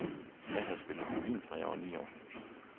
Jeg havde spillet violin, fra jeg var ni år.